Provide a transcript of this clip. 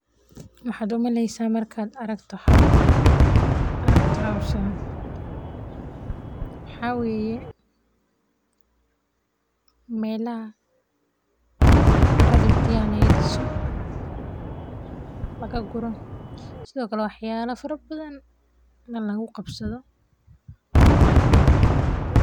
Maxaad u maleynaysaa markaad aragto hawshan, waxaa weye, meelaha caradha guriyaha laga diso, laga guro, sithokale wax yala fara badan lagu qabsatho ayan u maleyaa.